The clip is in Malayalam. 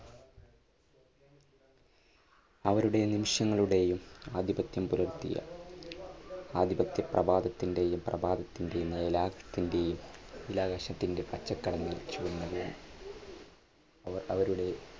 അവരുടെ നിമിഷങ്ങളുടെയും ആധിപത്യം പുലർത്തിയ ആധിപത്യ പ്രഭാതത്തിന്റെയും പ്രഭാതത്തിന്റെയും ആകാശത്തിന്റെ പച്ചക്കടൽ വീതിച്ചു കൊണ്ടുപോന്നു അവർ അവരുടെ